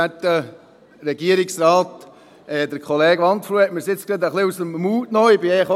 Der Kollege Wandfluh hat mir die Worte nun gerade ein wenig aus dem Mund genommen.